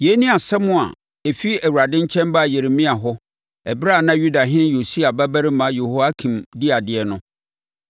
Yei ne asɛm a ɛfiri Awurade nkyɛn baa Yeremia hɔ ɛberɛ a na Yudahene Yosia babarima Yehoiakim di adeɛ no: